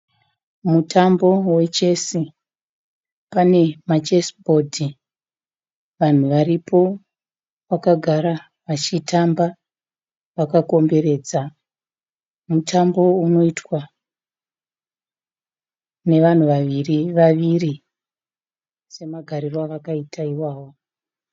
Mutambo wechesi. Pane ma chesi bhodhi. Vanhu varipo vakagara vachitamba vakakomberedza. Mutambo unoitwa nevanhu vaviri vaviri semagariro avakaita iwayo.